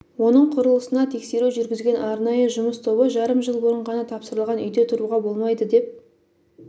оның құрылысына тексеру жүргізген арнайы жұмыс тобы жарым жыл бұрын ғана тапсырылған үйде тұруға болмайды деп